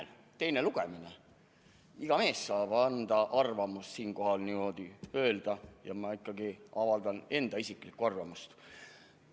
On teine lugemine, iga mees saab avaldada arvamust ja ma ikkagi avaldan enda isiklikku arvamust.